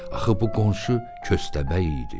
Axı bu qonşu köstəbək idi.